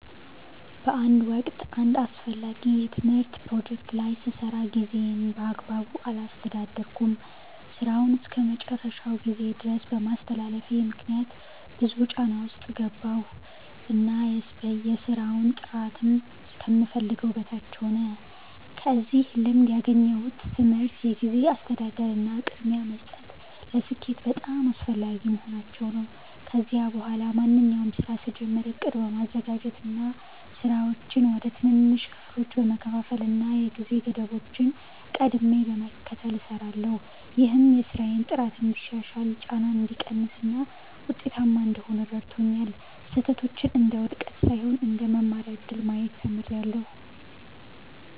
በአንድ ወቅት አንድ አስፈላጊ የትምህርት ፕሮጀክት ላይ ስሰራ ጊዜዬን በአግባቡ አላስተዳደርኩም። ሥራውን እስከ መጨረሻው ጊዜ ድረስ በማስተላለፌ ምክንያት ብዙ ጫና ውስጥ ገባሁ እና የሥራው ጥራትም ከምፈልገው በታች ሆነ። ከዚህ ልምድ ያገኘሁት ትምህርት የጊዜ አስተዳደር እና ቅድሚያ መስጠት ለስኬት በጣም አስፈላጊ መሆናቸውን ነው። ከዚያ በኋላ ማንኛውንም ሥራ ስጀምር ዕቅድ በማዘጋጀት፣ ሥራዎችን ወደ ትንንሽ ክፍሎች በመከፋፈል እና የጊዜ ገደቦችን ቀድሜ በመከተል እሰራለሁ። ይህም የሥራዬን ጥራት እንዲሻሻል፣ ጫናን እንዲቀንስ እና ውጤታማ እንድሆን ረድቶኛል። ስህተቶችን እንደ ውድቀት ሳይሆን እንደ መማሪያ እድል ማየት ተምሬያለሁ።